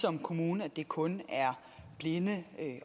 som kommune at det kun er blinde